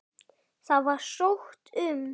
Það var sótt um.